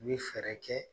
U bɛ fɛɛrɛ kɛ